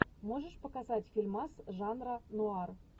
можешь показать фильмас жанра нуар